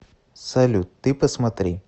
салют ты посмотри